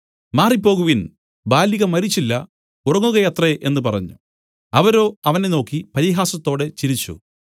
മാറിപ്പോകുവിൻ ബാലിക മരിച്ചില്ല ഉറങ്ങുകയത്രേ എന്നു പറഞ്ഞു അവരോ അവനെ നോക്കി പരിഹാസത്തോടെ ചിരിച്ചു